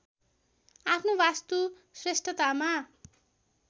आफ्नो वास्तु श्रेष्ठतामा